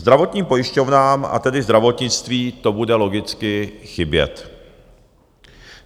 Zdravotním pojišťovnám, a tedy zdravotnictví, to bude logicky chybět.